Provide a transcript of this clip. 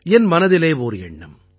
என் மனதில் ஓர் எண்ணம்